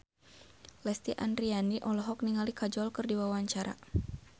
Lesti Andryani olohok ningali Kajol keur diwawancara